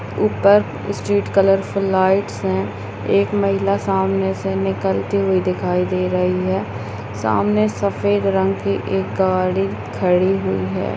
ऊपर street colourful lights हैं एक महिला सामने से निकलती हुई दिखाई दे रही है सामने सफ़ेद रंग की एक गाड़ी खड़ी हुई है।